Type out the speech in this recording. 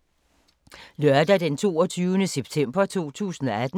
Lørdag d. 22. september 2018